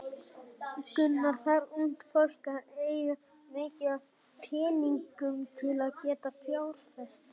Gunnar: Þarf ungt fólk að eiga mikið af peningum til að geta fjárfest?